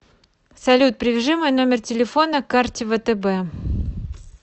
салют привяжи мой номер телефона к карте втб